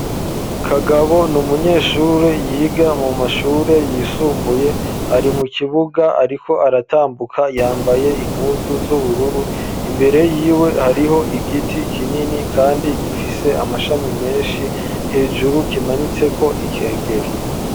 kagabo ni umunyeshure yiga mu mashure yisumbuye, ari mu kibuga ariko aratambuka yambaye impuzu z'ubururu, imbere yiwe hariho igiti kinini kandi gifise amashami menshi, hejuru kimanitse ko ikengeri.